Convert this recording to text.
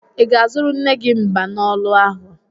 Ị ga-azụrụ nne gị mbanolu ahụ?